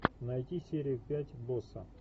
найти серию пять босса